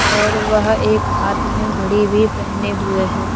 और वह एक हाथ में घड़ी भी पहने हुए है।